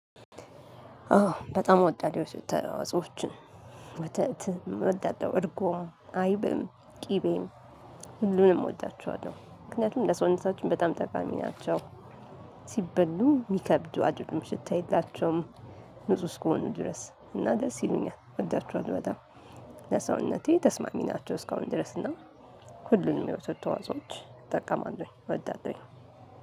አዎ በጣም እወዳለሁ የወተት ተዋፆኦችን ወተት እወዳለሁ እርጎም አይብም ቅቤም ሁሉንም እወዳቸዋለሁ ምክንያቱም ለሰውነታችን በጣም ጠቃሚ ናቸው። ሲበሉም ሚከብዱ አይደሉም ሽታ የላቸውም። ንጹህ እስከሆኑ ድረስ እና ደስ ይሉኛል እወዳቸዋለሁ። በጣም ለሰውነቴ ተስማሚ ናቸው። እስካሁን ድረስ እና ሁሉንም የወተት ተዋፆኦች እጠቀማለሁኝ ወዳለሁኝ